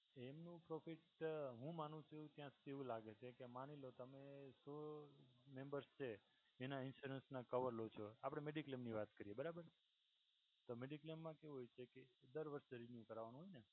એનું પ્રોફિટ હું માનું છું ત્યાં સુધી એવું લાગે છે કે માની લો કે તમે members છે એના insurance ના cover લો છો આપણે mediclaim ની વાત કરીએ બરાબર તો mediclaim માં કેવું હોય છે કે દર વર્ષે રિન્યૂ કરાવવાનું ને